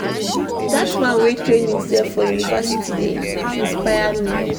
Dat man wey train imsef for university dey inspire me.